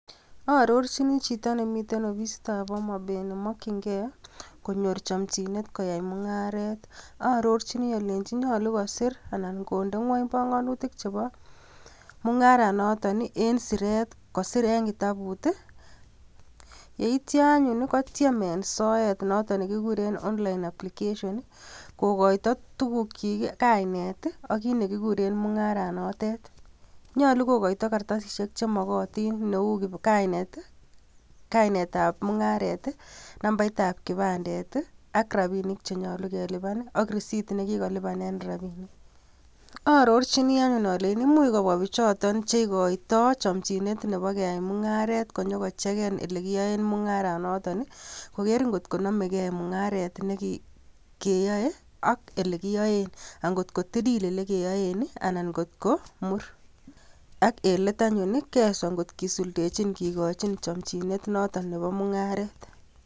Aarorchini chito ne miten ofisitab Homabay ne makchingei konyor chamchinet koyai mung'aret. Aarorchini allejini nyolu kosir anan konde ng'ony panganutik chebo mung'arenoton eng siret kosir eng kitabut, yeityo anyon kotyem eng soet noton ne kikuren online application, kokoito tukukchik, kainet ak kiit ne kikuren mung'aranotet. Nyolu ko koita karatasishek chemakatin neu kainetab mung'aret, nambaitab kipandet ak rabinik che nyolu ke lipan ,ak receipt ne kikolipanen rabinik. Aarorjini anyon aleji much kobwa pichoton che ikoitoi chamchinet neba keai mung'aret konyo ko cheken ole kiyoen mung'aranoton, koger ngotko namei gei mung'aret nekiae ak ole kiaen, ak ngotilil ole kiaen anan ngotko mur ak en let anyon kiaiso ngot kisuldechi kekochin ngikochin chamchinet noton nebo mung'aret.